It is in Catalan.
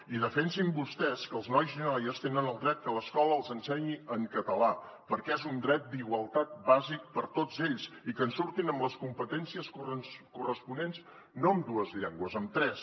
i defensin vostès que els nois i noies tenen el dret que l’escola els ensenyi en català perquè és un dret d’igualtat bàsic per a tots ells i que en surtin amb les competències corresponents no amb dues llengües amb tres